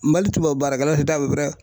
Mali tubabu baarakɛlaw si t'a